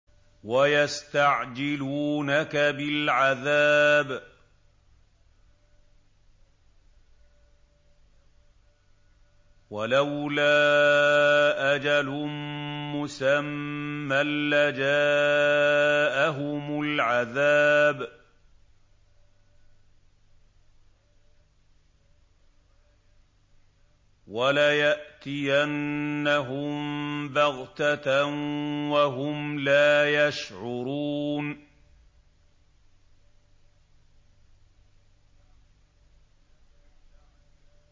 وَيَسْتَعْجِلُونَكَ بِالْعَذَابِ ۚ وَلَوْلَا أَجَلٌ مُّسَمًّى لَّجَاءَهُمُ الْعَذَابُ وَلَيَأْتِيَنَّهُم بَغْتَةً وَهُمْ لَا يَشْعُرُونَ